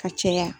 Ka caya